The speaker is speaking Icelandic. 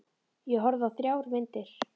Ég horfði á þrjár myndir.